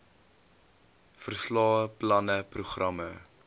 verslae planne programme